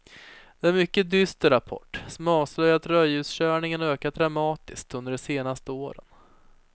Det är en mycket dyster rapport som avslöjar att rödljuskörningarna har ökat dramatiskt under de senaste åren.